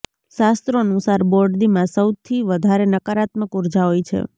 શાસ્ત્રો અનુસાર બોરડીમાં સૌથી વધારે નકારાત્મક ઉર્જા હોય છે